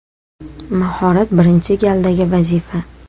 Mahorat birinchi galdagi vazifa.